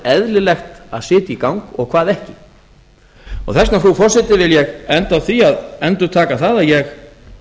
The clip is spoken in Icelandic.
eðlilegt að setja í gang og hvað ekki þess vegna frú forseti vil ég enda á því að endurtaka það að ég